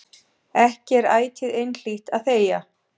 Ekki er ætíð einhlítt að þegja.